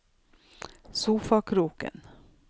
sofakroken